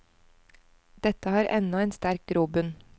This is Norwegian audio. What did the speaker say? Dette har ennå en sterk grobunn.